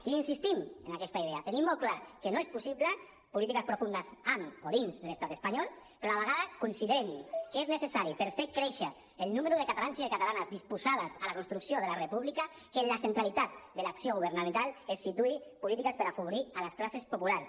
i insistim en aquesta idea tenim molt clar que no són possibles polítiques profundes amb o dins de l’estat espanyol però a la vegada considerem que és necessari per fer créixer el número de catalans i de catalanes disposades a la construcció de la república que en la centralitat de l’acció governamental es situïn polítiques per afavorir a les classes populars